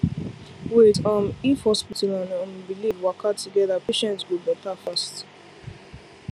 wait um if hospital and um belief waka together patient go better fast